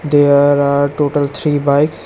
There are total three bikes.